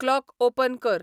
clock open कर